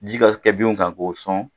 Ji ka kɛ binw kan k'o sɔn.